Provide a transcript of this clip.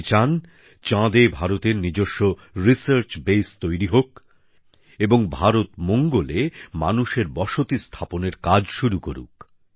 তিনি চান চাঁদে ভারতের নিজস্ব গবেষণা কেন্দ্র তৈরি হোক এবং ভারত মঙ্গলে মানুষের বসতি স্থাপনের কাজ শুরু করুক